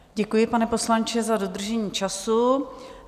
Děkuji, pane poslanče, za dodržení času.